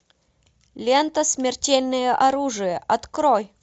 лента смертельное оружие открой